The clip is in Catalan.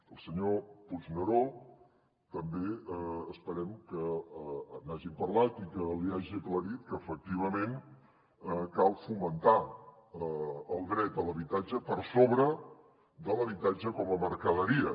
al senyor puigneró també esperem que n’hagin parlat i que li hagi aclarit que efectivament cal fomentar el dret a l’habitatge per sobre de l’habitatge com a mercaderia